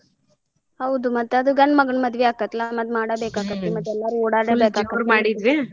ಹೌದು ಮತ್ತ್ ಅದು ಗಂಡ್ ಮಗನ್ ಮದ್ವಿ ಆಕೇತಿಲಾ ಮತ್ತ್ ಮಾಡಬೇಕಾಕೇತಿ ಮತ್ತ್ ಎಲ್ಲಾರು ಓಡಾಡಬೇಕಾಕೇತಿ .